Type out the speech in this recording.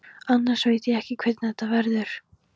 Annars veit ég ekki hvernig þetta verður.